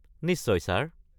নিশ্চয়, ছাৰ।